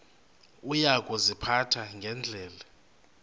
uya kuziphatha ngendlela